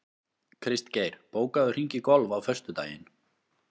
Kristgeir, bókaðu hring í golf á föstudaginn.